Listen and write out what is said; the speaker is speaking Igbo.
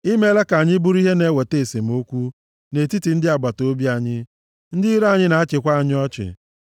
I meela ka anyị bụrụ ihe na-eweta esemokwu nʼetiti ndị agbataobi anyị, ndị iro anyị na-achịkwa anyị ọchị.